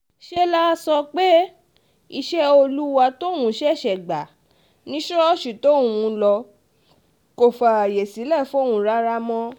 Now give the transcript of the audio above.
ṣe lá sọ pé iṣẹ́ olúwa tóun ṣẹ̀ṣẹ̀ gbà ni ṣọ́ọ̀ṣì tóun ń lọ kò fààyè sílẹ̀ fóun rárá mọ́